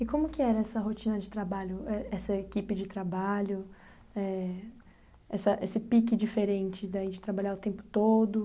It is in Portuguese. E como que era essa rotina de trabalho, eh essa equipe de trabalho, eh essa esse pique diferente daí de trabalhar o tempo todo?